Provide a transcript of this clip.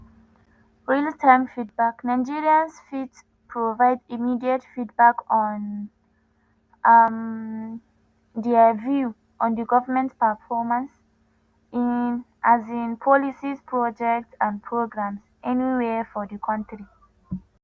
real-time feedback:nigerians fit provide immediate feedback on um dia view on di goment performance in um policies projects and programs anywia for di kontri.